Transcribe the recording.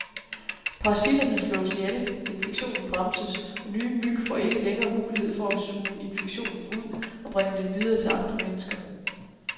Parasitterne slås ihjel, infektionen bremses, og nye myg får ikke længere mulighed for at suge infektionen ud og bringe den videre til andre mennesker.